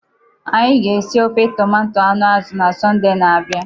Anyị ga-esi ofe tomato anụ azu na Sọnde na-abia.